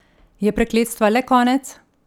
Je prekletstva le konec?